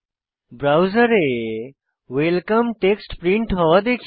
ব্রাউজারে welcome text print হওয়া দেখি